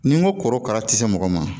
Ni n ko korokara tɛ se mɔgɔ ma